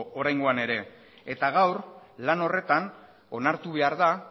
oraingoa ere eta gaur lan horretan onartu behar da